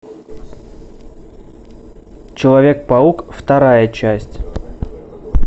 человек паук вторая часть